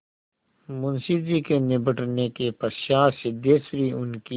मुंशी जी के निबटने के पश्चात सिद्धेश्वरी उनकी